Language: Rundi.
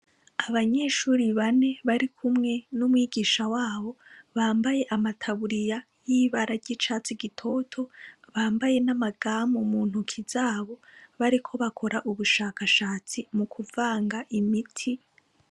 Abanyeshure bane bari kumwe n'umwigisha w'abo, bambaye amataburiya y'ibara ry'icatsi gitoto, bambaye n'amagame mu ntoki z'abo, bariko bakora ubushakashatsi mu kuvanga imiti.